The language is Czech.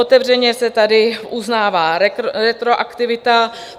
Otevřeně se tady uznává retroaktivita.